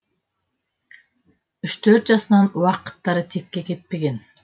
үш төрт жасынан уақыттары текке кетпеген